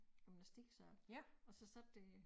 Gymnastiksal og så sad der